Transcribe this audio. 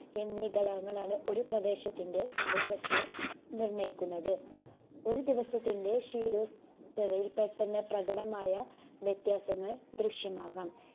എന്നീ ഘടകങ്ങളാണ് ഒരു പ്രദേശത്തിൻറെ കാലാവസ്ഥയെ നിർണ്ണയിക്കുന്നത്. ഒരു ദിവസത്തിന്റെ ശീതോസ്തവയിൽ പെട്ടെന്ന് പ്രകടമായ വ്യത്യാസങ്ങൾ ദൃശ്യമാകാം